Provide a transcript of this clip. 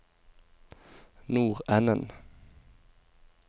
nordenden